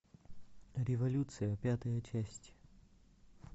революция пятая часть